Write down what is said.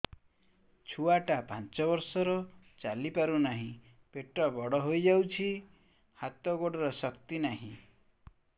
ଛୁଆଟା ପାଞ୍ଚ ବର୍ଷର ଚାଲି ପାରୁନାହଁ ପେଟ ବଡ ହୋଇ ଯାଉଛି ହାତ ଗୋଡ଼ର ଶକ୍ତି ନାହିଁ